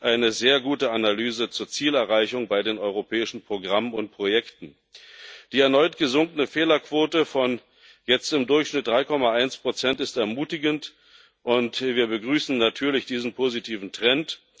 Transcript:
eine sehr gute Analyse zur Zielerreichung bei den europäischen Programmen und Projekten. Die erneut gesunkene Fehlerquote von jetzt im Durchschnitt 3,1 ist ermutigend, und wir begrüßen natürlich diesen positiven Trend.